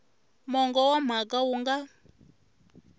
mongo wa mhaka wu nga